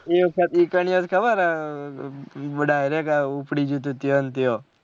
એ વખત એકાનીયા એ ખબર હે direct ઉપ્ડી ગયું હતું ત્યાં ના ત્યાં